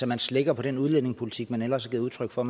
man slækker på den udlændingepolitik man ellers har givet udtryk for